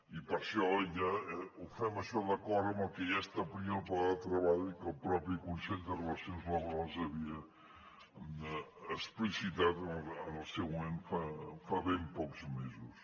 i per això ja ho fem això d’acord amb el que ja establia el pla de treball que el mateix consell de relacions laborals havia explicitat en el seu moment fa ben pocs mesos